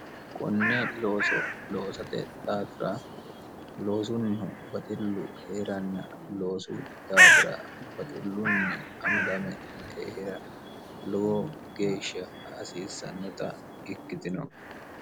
qonne looso loosote daafira loosunnihu baxillu hee'ranna loosu daafira baxillunni amadame hee'ra lowo geeshsha hasiissannota ikkitino